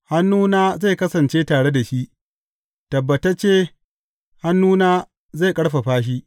Hannuna zai kasance tare da shi; tabbatacce hannuna zai ƙarfafa shi.